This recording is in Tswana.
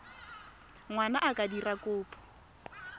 ngwana a ka dira kopo